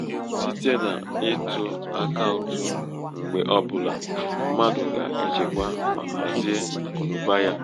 site n'ịtụ akaụtụ mgbe ọ bụla mmadụ ga -echekwa ma hazie akụnaụba ya.